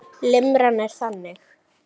Limran er þannig